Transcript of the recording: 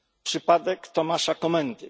Przypadek Tomasza Komendy.